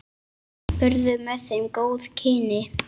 Urðu með þeim góð kynni.